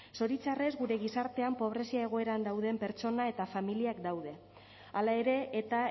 zoritxarrez gure gizartean pobrezia egoeran dauden pertsona eta familiak daude hala ere eta